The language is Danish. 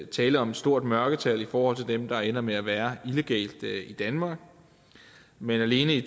tale om et stort mørketal i forhold til dem der ender med at være illegalt i danmark men alene i